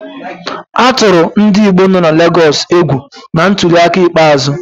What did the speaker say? A tụrụ ndị Igbo nọ na Legọs egwu na ntuliaka ikpeazụ.